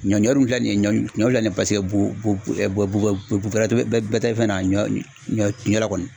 Ɲɔ ɲɔ dun filɛ nin ye ɲɔ ɲɔ filɛ nin ye paseke bu bu bu bɛrɛ bɛ tɛ fɛn na ɲɔ ɲɔ na kɔni